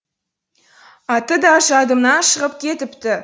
аты да жадымнан шығып кетіпті